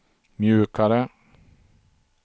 mjukare